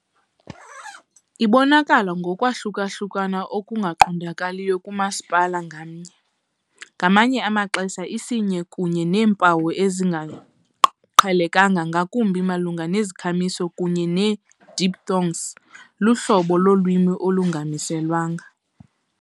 Ibonakala ngokwahlukahlukana okuqondakalayo kumasipala ngamnye, ngamanye amaxesha isinye kunye neempawu ezingaqhelekanga, ngakumbi malunga nezikhamiso kunye ne-diphthongs, luhlobo lolwimi olungamiselwanga.